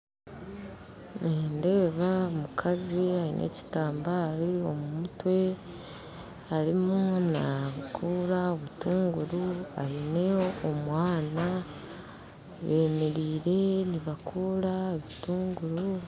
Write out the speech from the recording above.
Nindeeba omukazi aine ekitambaare omu mutwe arimu nagura obutunguru aine omwana bemeriire nibakora obutunguru